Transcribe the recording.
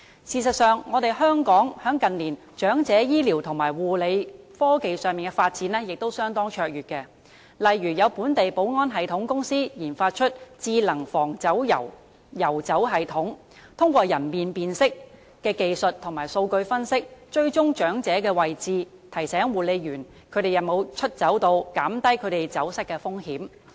事實上，香港近年在長者醫療和護理科技方面的發展亦相當卓越，例如有本地保安系統公司研發了"智能防遊走系統"，通過人臉辨識技術和數據分析，追蹤長者的位置，提醒護理員長者有否出走，減低他們走失的風險。